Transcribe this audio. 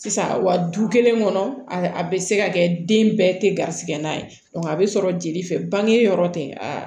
Sisan wa du kelen kɔnɔ a bɛ se ka kɛ den bɛɛ tɛ garisigɛ na ye a bɛ sɔrɔ jeli fɛ bange yɔrɔ tɛ a